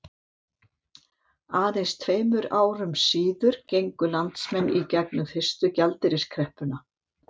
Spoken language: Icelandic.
Aðeins tveimur árum síður gengu landsmenn í gegnum fyrstu gjaldeyriskreppuna.